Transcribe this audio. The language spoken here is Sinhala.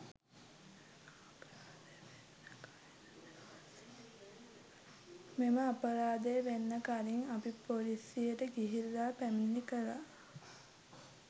මෙම අපරාධය වෙන්න කලින් අපි ‍පොලිසියට ගිහිල්ලා පැමිණිලි කළා.